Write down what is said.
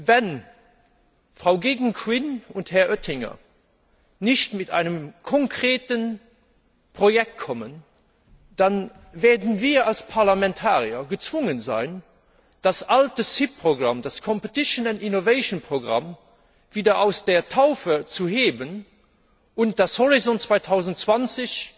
Wenn Frau Geoghegan Quinn und Herr Oettinger nicht mit einem konkreten Projekt kommen, dann werden wir als Parlamentarier gezwungen sein, das alte CIP Programm, das Competiton and Innovation Programme wieder aus der Taufe zu heben und das Programm Horizont 2020